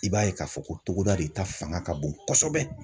I b'a ye k'a fɔ ko togoda de ta fanga ka bon kosɛbɛ.